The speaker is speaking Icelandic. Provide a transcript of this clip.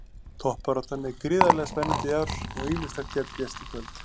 Toppbaráttan er gríðarlega spennandi í ár og ýmislegt gæti gerst í kvöld.